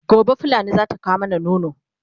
gobe fulani zata kawo mana nono